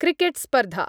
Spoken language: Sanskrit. क्रिकेट्स्पर्धा